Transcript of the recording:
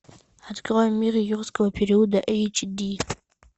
открой мир юрского периода эйч ди